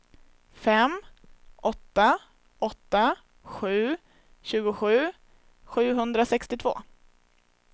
fem åtta åtta sju tjugosju sjuhundrasextiotvå